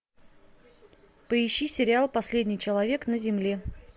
поищи сериал последний человек на земле